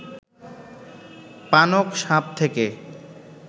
পানক সাপ থাকে